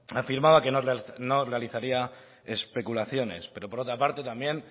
afirmaba que no realizaría especulaciones pero por otra parte también